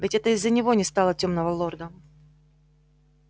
ведь это из-за него не стало тёмного лорда